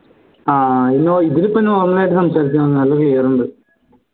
ആഹ് ഇതിൽ ഇപ്പോ normal ആയിട്ട് സംസാരിച്ചാ മതി നല്ല clear ഉണ്ട്